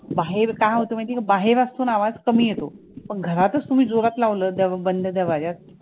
बाहेर काय होतं माहितीये का बाहेर असतो ना आवाज कमी येतो पण घरातचं तुम्ही जोरात लावलं द बंद दरवाजात